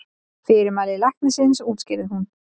Fyrirmæli læknisins útskýrði hún.